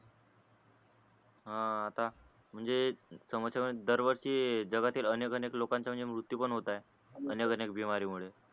हान आता म्हणजे जगातील अनेक अनेक लोकांचा म्ह्णाणजे मृत्यू पण होते आहे अनेक अनेक मुळे